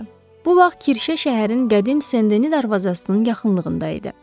Bu vaxt kirşə şəhərin qədim Sendenin darvazasının yaxınlığında idi.